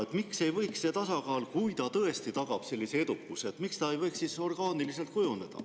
Ja miks ei võiks see tasakaal, kui ta tõesti tagab sellise edukuse, kujuneda orgaaniliselt?